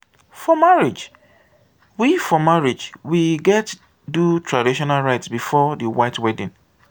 for marriage we for marriage we gats do traditional rites before the white wedding.